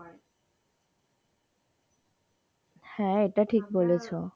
হ্যাঁ এটা ঠিক বলেছো?